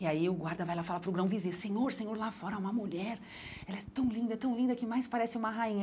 E aí o guarda vai lá falar para o grão-vizir, senhor, senhor, lá fora há uma mulher, ela é tão linda, tão linda, que mais parece uma rainha.